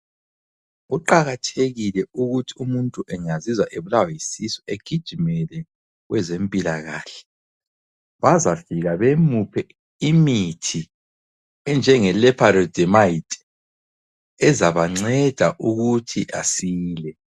Kuqakathekile ukuthi umuntu engazizwa ebulawa yisisu egijimele kwezempilakahle bazafika bemuphe imithi enjengeLoperamide ezabanceda ukuthi asile.